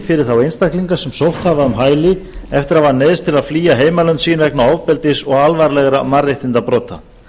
fyrir þá einstaklinga sem sótt hafa um hæli eftir að hafa neyðst til að flýja heimalönd sín vegna ofbeldis og alvarlegra mannréttindabrota